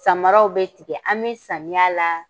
Samaraw bɛ tigɛ an bɛ samiyɛ la